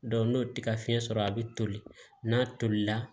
n'o tɛ ka fiɲɛ sɔrɔ a bi toli n'a tolila